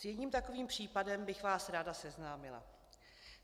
S jedním takovým případem bych vás ráda seznámila.